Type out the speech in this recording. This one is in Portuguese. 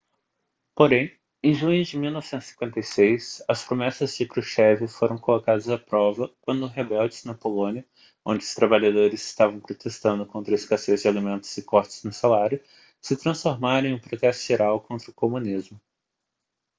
porém em junho de 1956 as promessas de krushchev foram colocadas à prova quando rebeldes na polônia onde os trabalhadores estavam protestando contra a escassez de alimentos e cortes no salário se transformaram em um protesto geral contra o comunismo